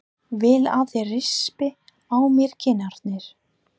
Vil að þeir rispi á mér kinnarnar.